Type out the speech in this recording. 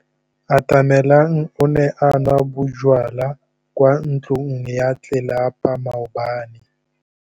Atamelang o ne a nwa bojwala kwa ntlong ya tlelapa maobane.